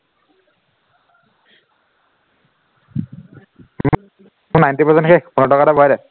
মোৰ ninety percent শেষ পোন্ধৰ টকা এটা ভৰাই দে